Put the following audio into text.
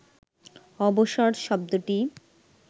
অবসর শব্দটি